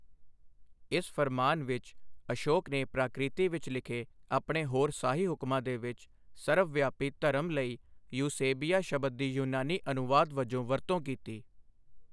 ਇਸ ਫ਼ਰਮਾਨ ਵਿੱਚ, ਅਸ਼ੋਕ ਨੇ ਪ੍ਰਾਕ੍ਰਿਤੀ ਵਿੱਚ ਲਿਖੇ ਆਪਣੇ ਹੋਰ ਸਾਹੀ ਹੁਕਮਾਂ ਦੇ ਵਿਚ ਸਰਵ ਵਿਆਪੀ 'ਧਰਮ' ਲਈ ਯੂਸੇਬੀਆ ਸ਼ਬਦ ਦੀ ਯੂਨਾਨੀ ਅਨੁਵਾਦ ਵਜੋਂ ਵਰਤੋਂ ਕੀਤੀ ਹੈ।